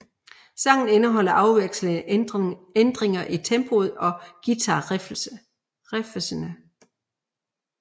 Sangen indeholder afvekslende ændringer i tempoet og guitar riffsene